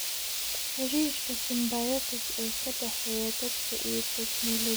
Xidhiidhka symbiotic ee ka dhexeeya dadka iyo tignoolajiyada.